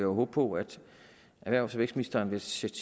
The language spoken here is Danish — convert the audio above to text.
håbe på at erhvervs og vækstministeren ville sætte